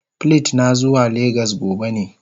Plit na, na zuwa lagos gobe ne.